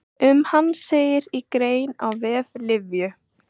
Um hann segir í grein á vef Lyfju.